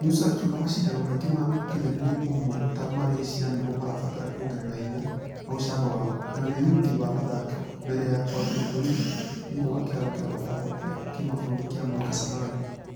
Musa akĩuga mashidano mangĩ ma ũkinyanĩru ũmwe ta ma russia nĩmo marabatara kuongerera hinya na ucamba wao na wĩruti wa athaki. Mbere ya kũambia kwĩruta....thĩinĩ wa kĩharo gĩa mĩthako gĩa kĩmabũrũri gĩa moi kasarani.